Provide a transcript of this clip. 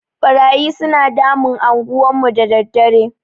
Ɓarayi suna damun anguwan mu da daddare.